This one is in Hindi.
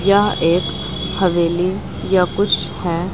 यह एक हवेली या कुछ है।